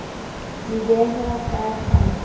di a behwa ka tate